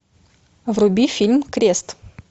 вруби фильм крест